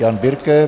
Jan Birke.